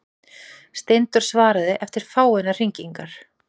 Steindór svaraði eftir fáeinar hringingar.